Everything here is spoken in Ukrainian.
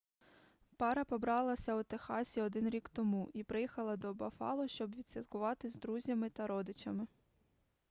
пара побралася у техасі один рік тому і приїхала до баффало щоб відсвяткувати з друзями та родичами